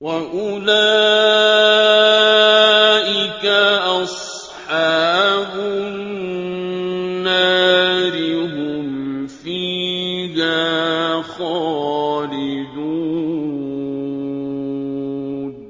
وَأُولَٰئِكَ أَصْحَابُ النَّارِ ۖ هُمْ فِيهَا خَالِدُونَ